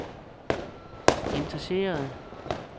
interesserer